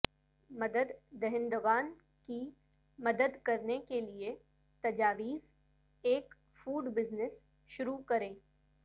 مدد دہندگان کی مدد کرنے کیلئے تجاویز ایک فوڈ بزنس شروع کریں